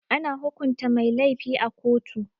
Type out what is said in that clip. Ana hukunta mai lafi a koto.